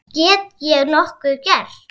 Get ég nokkuð gert?